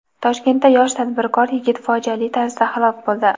Toshkentda yosh tadbirkor yigit fojiali tarzda halok bo‘ldi.